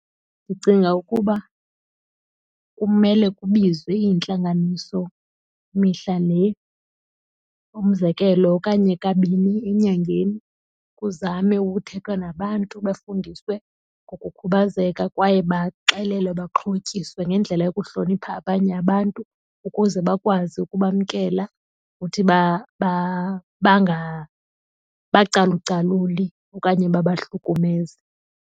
Ndicinga ukuba kumele kubizwe iintlanganiso mihla le, umzekelo, okanye kabini enyangeni kuzame ukuthethwa nabantu bafundiswe ngokukhubazeka kwaye baxelelwe, baxhotyiswe ngendlela yokuhlonipha abanye abantu ukuze bakwazi ukubamkela ukuthi bangabacalucaluli okanye babahlukumeze.